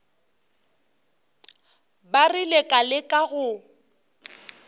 ba rile ka leka go